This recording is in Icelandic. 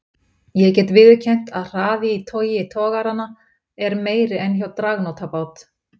Ég get viðurkennt að hraði í togi togaranna er meiri en hjá dragnótabát.